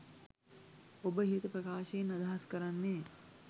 ඔබ ඉහත ප්‍රකාශයෙන් අදහස් කරන්නේ